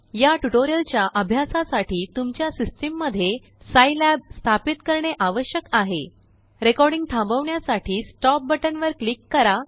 याट्यूटोरियलच्याअभ्यासासाठी तुमच्यासिस्टम मध्ये सिलाब स्थापित करणेआवश्यक आहे रेकॉर्डिंग थांबवण्यासाठीStop बटन वर क्लिक करा